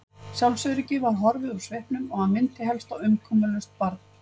Sjálfsöryggið var horfið úr svipnum og hann minnti helst á umkomulaust barn.